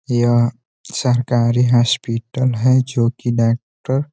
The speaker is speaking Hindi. यह सरकारी होस्पिटल है जोकि डोक्टर --